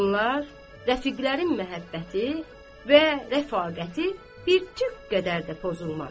Bunlar rəfiqlərin məhəbbəti və rəfaqəti bir tük qədər də pozulmadı.